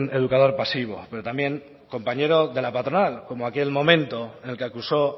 educador pasivo pero también compañero de la patronal como aquel momento en el que acusó